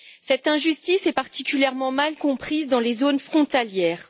Cette injustice est particulièrement mal comprise dans les zones frontalières.